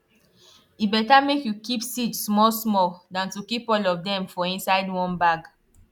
e better make you keep seed small small than to keep all of dem for inside one bag